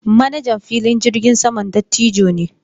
Manajan filin jirgin saman dattijo ne.